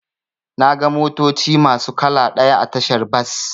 Naga motoci masu kala ɗaya a tashar bas.